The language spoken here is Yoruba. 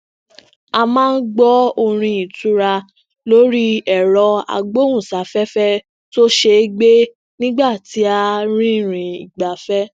a maa n gbọ orin itura lori èrọ agbóhùnsáféfé tó ṣeé gbé nigba ti a rìnrìn igbafẹ